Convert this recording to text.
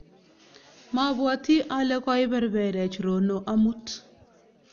mabwoti ale koiberberechRono amut